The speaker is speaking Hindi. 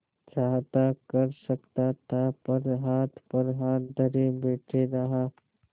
चाहता कर सकता था पर हाथ पर हाथ धरे बैठे रहा